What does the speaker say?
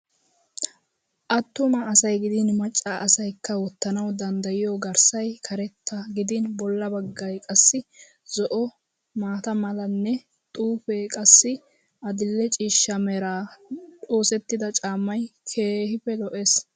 Attuma asay gidin macca asayikka wottanawu dandayiyo garssay karetta gidin bolla baggay qassi zo'o, maata malanne xuufee qassi adil'e ciishsha meran oosettidaa caamay keehippe lo'es.